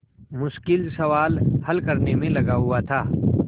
मुश्किल सवाल हल करने में लगा हुआ था